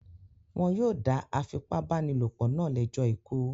Wọn yóò dá afipábánilòpọ̀ náà lẹ́jọ́ ikú.